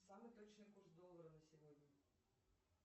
самый точный курс доллара на сегодня